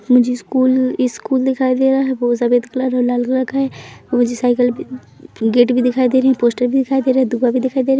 मुझे school school दिखाई दे रहा है वो सफेद कलर या लाल कलर का है मुझे साइकल भी गेट भी दिखाई दे रही है पोस्टर भी दिखाई दे रहा है दूर्वा दिखाई दे रहा है।